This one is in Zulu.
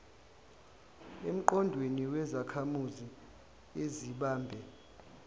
emqondweni wezakhamuzi ezibambe